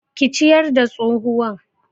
Ki ciyar da tsohuwan